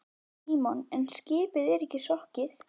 Símon: En skipið er ekki sokkið?